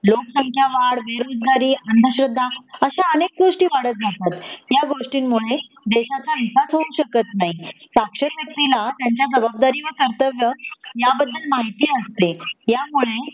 लोकसंख्या वाढ, बेरोजगारी, आंधश्रद्धा अश्या अनेक गोष्टी वाढत जातात या गोष्टींमूळे देशाच हितच होऊ शकत नाही साक्षर व्यक्तीला त्याच्या जबाबदारी व कर्तव्य याबद्दल माहिती असते या मूळे